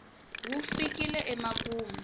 wu fikile emakumu